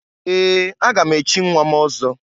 Ee! Aga m echi nnwa m ọzọ.